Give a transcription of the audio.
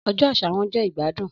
Ọjọ aṣa wọn jẹ igbadun